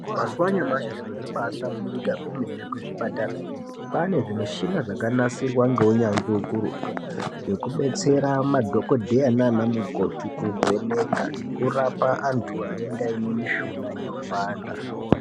Mazuwa anyamashi zvintu zvambasvamburuka zvemene kuzvipatara ,kwaanezvimushina zvakanasirwa ngeunyanzvi hukuru ,zvekubetsera madhokodheya naanamukoti kuvheneka nekurapa antu anenge aiine mishuna inopanda.